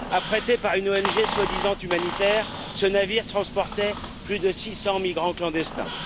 Affrété par une ONG soi disant humanitaire, ce navire transportait plus de 600 migrants clandestins.